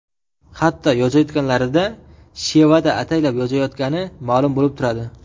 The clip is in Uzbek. Hatto yozayotganlarida shevada ataylab yozayotgani ma’lum bo‘lib turadi.